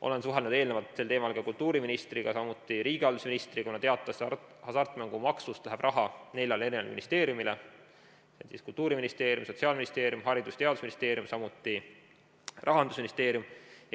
Olen suhelnud eelnevalt sel teemal kultuuriministriga, samuti riigihalduse ministriga, kuna teatavasti hasartmängumaksust läheb raha neljale ministeeriumile: Kultuuriministeerium, Sotsiaalministeerium, Haridus- ja Teadusministeerium, samuti Rahandusministeerium.